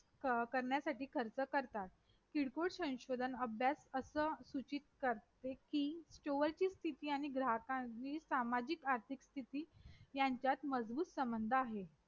करण्यासाठी खर्च करतात किरकोळ संशोधन अभ्यास असं सूचित करते कि stor ची स्तिथी आणि ग्राहकाची सामाजिक आर्थिक स्तिथी यांच्यात मजबूत संबंध आहे